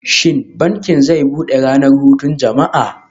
Shin bankin zai bude ranar hutun jama'a?